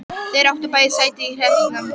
Þeir áttu báðir sæti í hreppsnefnd.